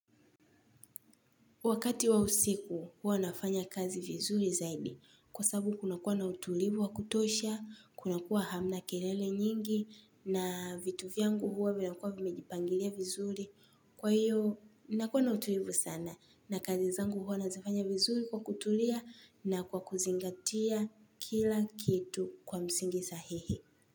Wakati wa usiku hua nafanya kazi vizuri zaidi kwa sababu kuna kuwa na utulivu wa kutosha, kunakuwa hamna kelele nyingi na vitu vyangu hua vina kuwa vimejipangilia vizuri. Kwa hiyo nakuwa na utulivu sana na kazi zangu hua nazifanya vizuri kwa kutulia na kwa kuzingatia kila kitu kwa msingi sahihi.